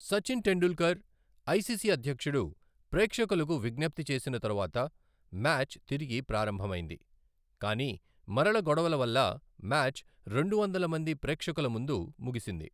Sachin Tendulkar, ICC అధ్యక్షుడు ప్రేక్షకులకు విజ్ఞప్తి చేసిన తరువాత మ్యాచ్ తిరిగి ప్రారంభమైంది, కానీ మరల గొడవల వల్ల మ్యాచ్ రెండు వందల మంది ప్రేక్షకుల ముందు ముగిసింది.